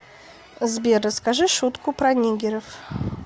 сбер расскажи шутку про нигеров